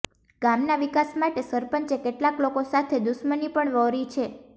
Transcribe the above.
ગામના વિકાસ માટે સરપંચે કેટલાક લોકો સાથે દુશમની પણ વ્હોરી છે